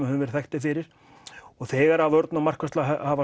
höfum verið þekkt fyrir og þegar vörn og markvarsla hafa